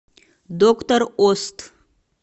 доктор ост